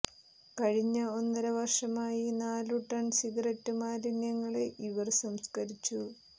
കഴിഞ്ഞ ഒന്നര വര്ഷമായി നാലു ടണ് സിഗരറ്റ് മാലിന്യങ്ങള് ഇവര് സംസ്കരിച്ചു